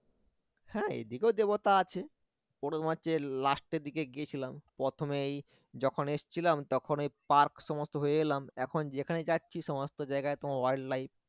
হ্যাঁ এদিকেও দেবতা আছে ওটা তোমার হচ্ছে last এর দিকে গিয়েছিলাম প্রথমেই যখন এসছিলাম তখন ওই park সমস্ত হয়ে এলাম এখন যেখানে যাচ্ছি সমস্ত জায়গায় তোমার wild life